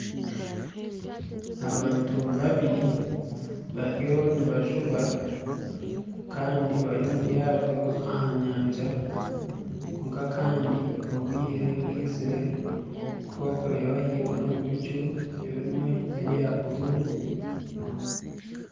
Abantu babiri bariyo nibajuba kandi bari omu ryato aha nyanja kwonka kandi obwire bwizire kokureeba ahaiguru omu bicu ebimwe nebya bururu